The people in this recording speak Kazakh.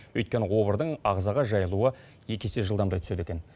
өйткені обырдың ағзаға жайылуы екі есе жылдамдай түседі екен